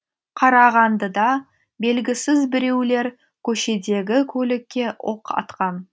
қарағандыда белгісіз біреулер көшедегі көлікке оқ атқан